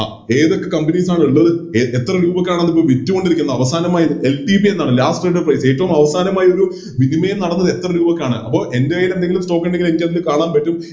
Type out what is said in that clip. അഹ് ഏതൊക്കെ Companies ആണിള്ളത് എ എത്ര രൂപക്കാണത് വിറ്റോണ്ടിരിക്കുന്നത് അവസാനമായി LTP എന്നാണ് Last trade price ഏറ്റോം അവസാനമായി ഒരു വിനിമയം നടന്നത് എത്ര രൂപക്കാണ് അപ്പൊ എൻറെ കൈയിലെന്തെങ്കിലും Stock ഇണ്ടെങ്കിൽ എനിക്ക് അതിൽ കാണാൻ പറ്റും